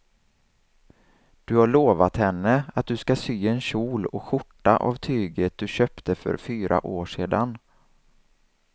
Du har lovat henne att du ska sy en kjol och skjorta av tyget du köpte för fyra år sedan.